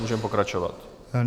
Můžeme pokračovat.